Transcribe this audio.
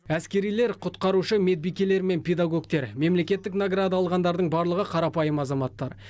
әскерилер құтқарушы медбикелер мен педагогтер мемлекеттік награда алғандардың барлығы қарапайым азаматтар